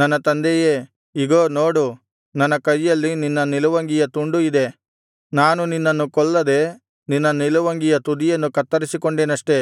ನನ್ನ ತಂದೆಯೇ ಇಗೋ ನೋಡು ನನ್ನ ಕೈಯಲ್ಲಿ ನಿನ್ನ ನಿಲುವಂಗಿಯ ತುಂಡು ಇದೆ ನಾನು ನಿನ್ನನ್ನು ಕೊಲ್ಲದೆ ನಿನ್ನ ನಿಲುವಂಗಿಯ ತುದಿಯನ್ನು ಕತ್ತರಿಸಿಕೊಂಡೆನಷ್ಟೇ